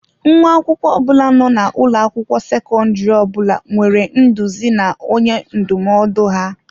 Nwa akwụkwọ ọ bụla nọ n'ụlọ akwụkwọ sekọndrị ọ bụla nwere nduzi na onye ndụmọdụ ha.